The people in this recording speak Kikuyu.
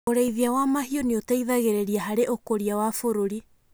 Ũrĩithia wa mahiũ nĩ ũteithagĩrĩria harĩ ũkũria wa bũrũri.